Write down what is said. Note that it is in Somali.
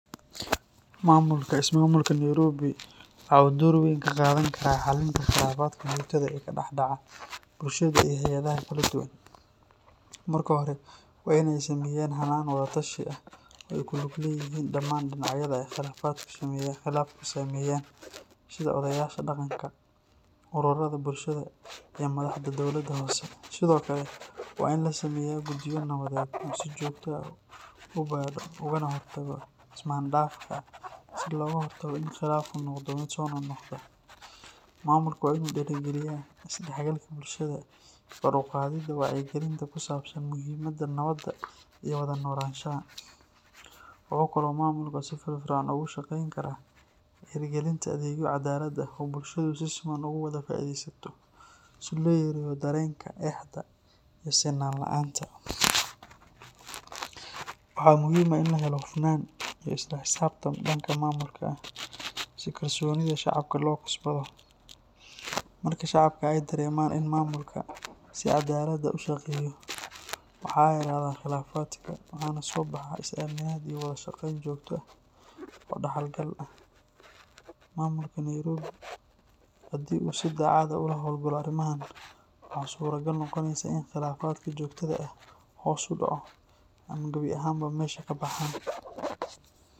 Maamulka ismaamulka Nairobi waxa uu door weyn ka qaadan karaa xallinta khilaafaadka joogtada ah ee ka dhex dhaca bulshada iyo hay’adaha kala duwan. Marka hore, waa in ay sameeyaan hannaan wada-tashi ah oo ay ku lug leeyihiin dhammaan dhinacyada ay khilaafku saameeyaan, sida odayaasha dhaqanka, ururrada bulshada, iyo madaxda dowladda hoose. Sidoo kale, waa in la sameeyaa guddiyo nabadeed oo si joogto ah u baadho ugana hortaga ismaan-dhaafka, si looga hortago in khilaafku noqdo mid soo noqnoqda. Maamulka waa in uu dhiirrigeliyaa is-dhexgalka bulshada iyo kor u qaadidda wacyigelinta ku saabsan muhiimadda nabadda iyo wada noolaanshaha. Wuxuu kaloo maamulka si firfircoon uga shaqayn karaa hirgelinta adeegyo cadaalad ah oo bulshadu si siman ugu wada faa’iidaysato, si loo yareeyo dareenka eexda iyo sinaan la’aanta. Waxaa muhiim ah in la helo hufnaan iyo isla xisaabtan dhanka maamulka ah, si kalsoonida shacabka loo kasbado. Marka shacabka ay dareemaan in maamulka si caddaalad ah u shaqeeyo, waxaa yaraada khilaafaadka, waxaana soo baxa is-aaminaad iyo wada shaqayn joogto ah oo dhaxal gal ah. Maamulka Nairobi haddii uu si daacad ah uga hawlgalo arrimahan, waxa suuragal noqonaysa in khilaafaadka joogtada ahi hoos u dhacaan ama gabi ahaanba meesha ka baxaan.